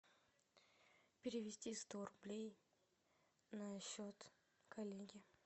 перевести сто рублей на счет коллеги